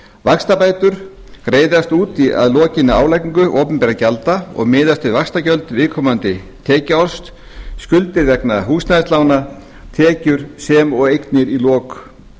vaxtabætur greiðast út að lokinni álagningu opinberra gjalda og miðast við vaxtagjöld viðkomandi tekjuárs skuldir vegna húsnæðislána tekjur sem og eignir í lok